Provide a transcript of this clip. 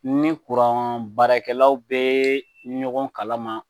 Ni kuran baarakɛlaw bɛ ɲɔgɔn kalama